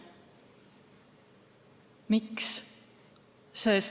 Miks?